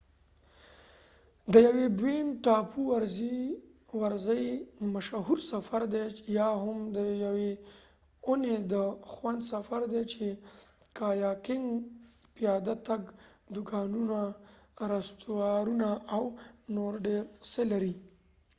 بوين ټاپو bowen island د یوې ورځی مشهور سفر دي یا هم د یوې اوونی د خوند سفر دي چې د کایاکنګ ،پیاده تګ ،دوکانونه، رستورانتونه او نور ډیر څه لري